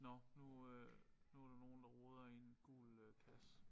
Nåh nu øh nu der nogen der roder i en gul øh kasse